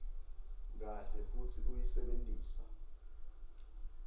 kahle futsi uyisebentisa